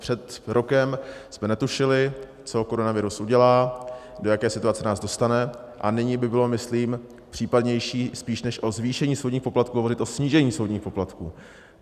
Před rokem jsme netušili, co koronavirus udělá, do jaké situace nás dostane, a nyní by bylo myslím případnější spíše než o zvýšení soudních poplatků hovořit o snížení soudních poplatků.